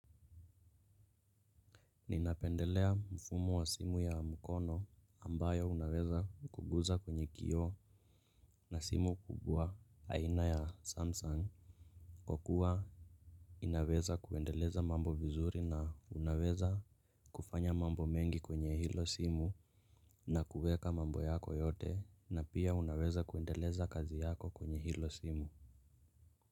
Ninapendelea mfumo wa simu ya mkono ambayo unaweza kuguza kwenye kioo ka simu aina ya samsung kwa kuwa inaweza kuendeleza mambo vizuri na unaweza kufanya mambo mengi kwenye hilo simu na kuweka mambo yako yote na pia unaweza kuendeleza kazi yako kwenye hilo simu.